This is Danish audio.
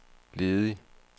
ledig